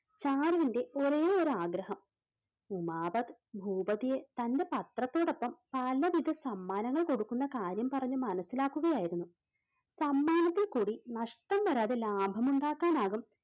ചാരുവിന്റെ ഒരേയൊരു ആഗ്രഹം. ഉമാപത് ഭൂപതിയെ തൻറെ പത്രത്തോടൊപ്പം പലവിധ സമ്മാനങ്ങൾ കൊടുക്കുന്ന കാര്യം പറഞ്ഞു മനസ്സിലാക്കുകയായിരുന്നു. സമ്മാനത്തിൽ കൂടി നഷ്ടം വരാതെ ലാഭമുണ്ടാക്കാനാവും.